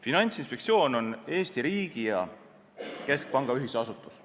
Finantsinspektsioon on Eesti riigi ja keskpanga ühisasutus.